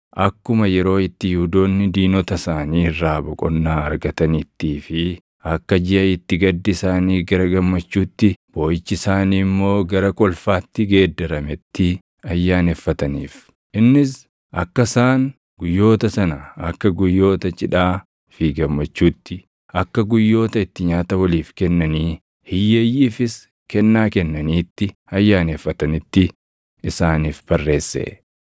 akkuma yeroo itti Yihuudoonni diinota isaanii irraa boqonnaa argataniittii fi akka jiʼa itti gaddi isaanii gara gammachuutti, booʼichi isaanii immoo gara kolfaatti geeddarameetti ayyaaneffataniif. Innis akka isaan guyyoota sana akka guyyoota cidhaa fi gammachuutti, akka guyyoota itti nyaata waliif kennanii hiyyeeyyiifis kennaa kennaniitti ayyaaneffatanitti isaaniif barreesse.